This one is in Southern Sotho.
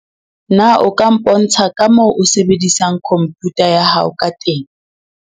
Na o ka mpontsha ka moo o sebedisang khomputa ya hao ka teng?